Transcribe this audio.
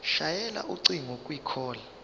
shayela ucingo kwicall